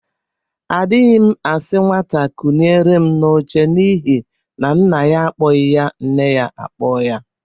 Adighị m asi nwata kuliere m n'oche n'ihi na nna ya akpoghị ya nne ya akpọ ya